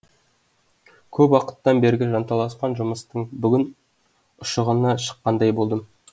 көп уақыттан бергі жанталасқан жұмыстың бүгін ұшығына шыққандай болдым